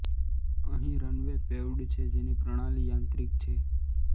અહીં runway paved છે જેની પ્રણાલી યાંત્રિક છે